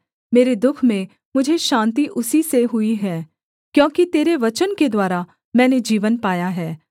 मेरे दुःख में मुझे शान्ति उसी से हुई है क्योंकि तेरे वचन के द्वारा मैंने जीवन पाया है